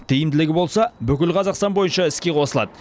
тиімділігі болса бүкіл қазақстан бойынша іске қосылады